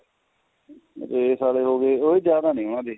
race ਵਾਲੇ ਹੋ ਗਏ ਉਹੀ ਜਿਆਦਾ ਨੇ ਉਹਨਾ ਦੇ